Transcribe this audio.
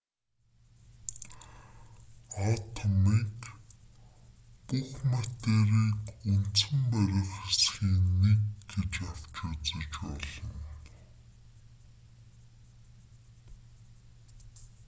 атомыг бүх материйг үндсэн барих хэсгийн нэг гэж авч үзэж болно